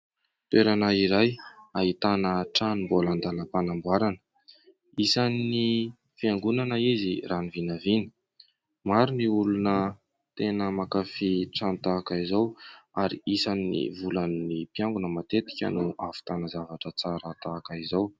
Toerana iray ahitana trano mbola an-dàlam-panamboarana, isan'ny fiangonana izy raha ny vinavina, maro ny olona tena mankafỳ trano tahaka izao ary isan'ny volan'ny mpiangona matetika no ahavitana zavatra tsara tahaka izao.